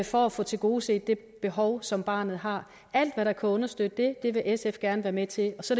for at få tilgodeset det behov som barnet har alt hvad der kan understøtte det vil sf gerne være med til så